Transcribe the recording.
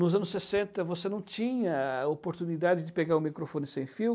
Nos anos sessenta você não tinha oportunidade de pegar um microfone sem fio,